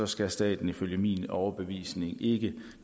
skal staten ifølge min overbevisning ikke